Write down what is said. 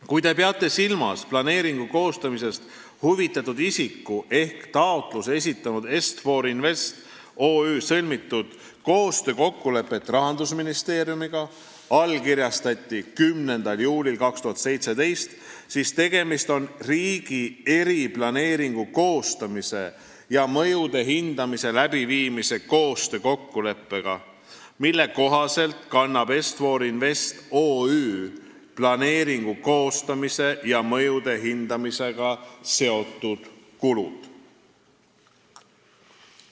Kui te peate silmas planeeringu koostamisest huvitatud isiku ehk taotluse esitanud Est-For Invest OÜ sõlmitud koostöökokkulepet Rahandusministeeriumiga, mis allkirjastati 10. juulil 2017, siis tegemist on riigi eriplaneeringu koostamise ja mõjude hindamise läbiviimise koostöökokkuleppega, mille kohaselt kannab Est-For Invest OÜ planeeringu koostamise ja mõjude hindamisega seotud kulud.